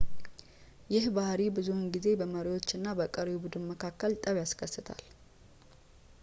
ይህ ባህሪ ብዙውን ጊዜ በመሪዎች እና በቀሪው ቡድን መካከል ጠብ ያስከስታል